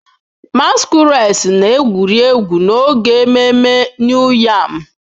Masquerades na-egwuri egwu n'oge ememme New yam.